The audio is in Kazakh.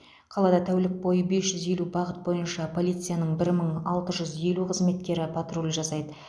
қалада тәулік бойы бес жүз елу бағыт бойынша полицияның бір мың алты жүз елу қызметкері патруль жасайды